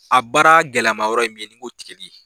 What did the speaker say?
A baara gɛlɛma yɔrɔ in min nin ko di.